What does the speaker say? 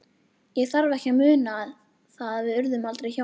Ég þarf ekki að muna það- við urðum aldrei hjón.